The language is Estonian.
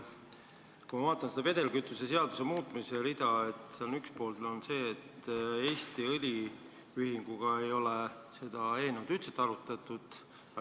Kui ma vaatan vedelkütuse seaduse muutmise rida, siis näen, et Eesti Õliühinguga ei ole seda eelnõu üldse arutatud.